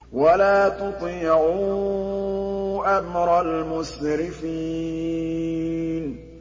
وَلَا تُطِيعُوا أَمْرَ الْمُسْرِفِينَ